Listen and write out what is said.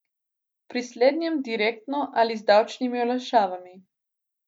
Pri slednjem direktno ali z davčnimi olajšavami.